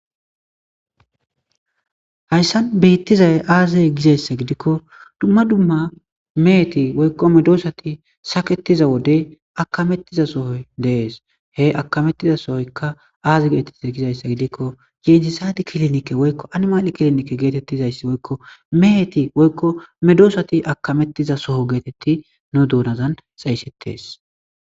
hayssan biittizay aazey gizayssa gidikko dumma dumma meheti woykko medoosati saketiza wodey akamettiza sohoy dees he akamettiza sohoykka aazi geetetiza gizayssa gidikko yentisadi kilinikke woykko animali kilinike geetettizayssi woykko meeti woykko medoosati akamettiza soho geetetti no duunazan xeysetes